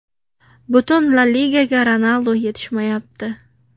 Butun La Ligaga Ronaldu yetishmayapti.